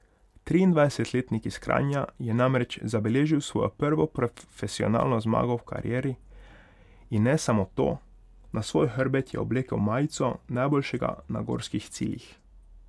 Triindvajsetletnik iz Kranja je namreč zabeležil svojo prvo profesionalno zmago v karieri in ne samo to, na svoj hrbet je oblekel majico najboljšega na gorskih ciljih.